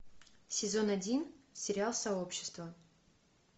сезон один сериал сообщество